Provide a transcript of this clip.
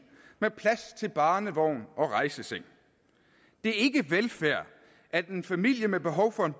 med plads til barnevognen og rejsesengen det er ikke velfærd at en familie med behov for en